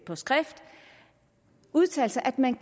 på skrift udtalt at man